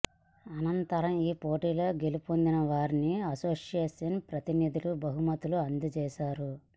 అనంతరం ఈ పోటీలో గెలుపొందిన వారికి అసోసియేషన్ ప్రతినిధులు బహుమతులు అందజేశారు